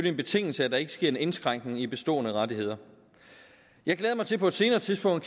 en betingelse at der ikke sker en indskrænkning i bestående rettigheder jeg glæder mig til på et senere tidspunkt